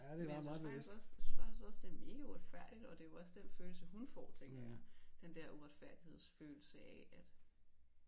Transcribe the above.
Men jeg synes faktisk også jeg synes faktisk også det er mega uretfærdigt og det jo også den følelse hun får tlænker jeg den der uretfærdighedsfølelse af at